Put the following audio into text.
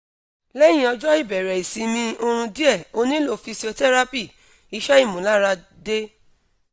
lehin ojo ibere isimi orun die onilo physiotherapy (ise imularade)